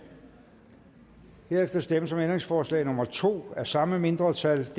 herefter stemmes om ændringsforslag nummer to af samme mindretal